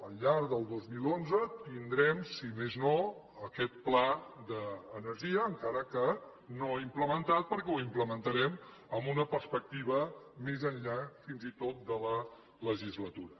al llarg del dos mil onze tindrem si més no aquest pla d’energia encara que no implementat perquè ho implementarem amb una perspectiva més enllà fins i tot de la legislatura